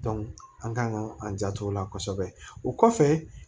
an kan ka an janto o la kosɛbɛ o kɔfɛ